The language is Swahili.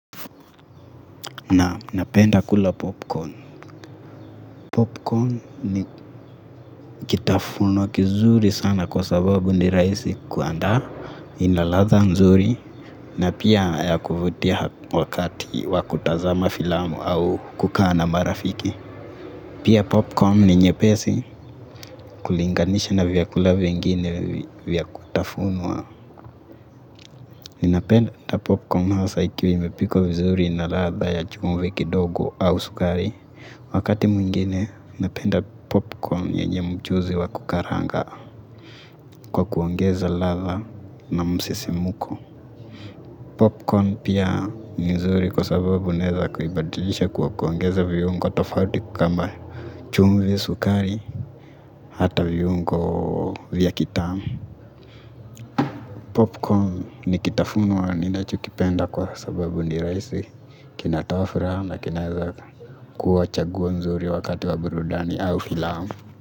Naam, napenda kula popcorn. Popcorn ni kitafunwa kizuri sana kwa sababu ni rahisi kuandaa, ina ladha nzuri na pia ya kuvutia wakati wa kutazama filamu au kukutana na marafiki. Pia popcorn ni nyepesi kulinganisha na vyakula vingine vya kutafuna. Ninapenda popcorn hasa ikiwa imepikwa vizuri na ladha ya chumvi kidogo au sukari. Wakati mwingine napenda popcorn yenye mchuzi wa kukaranga kwa kuongeza ladha na msisimuko. Popcorn pia ni nzuri kwa sababu unaweza kuibadilisha kwa kuongeza viungo tofauti kama chumvi, sukari, hata viungo vya kitamu. Popcorn ni kitafunwa ninachokipenda kwa sababu ni rahisi, kinatoa furaha na kinaweza kuwa chaguo zuri wakati wa burudani au filamu.